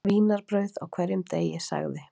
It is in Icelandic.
Vínarbrauð á hverjum degi sagði